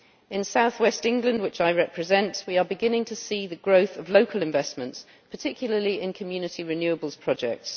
In south west England, which I represent, we are beginning to see the growth of local investment, particularly in community renewables projects.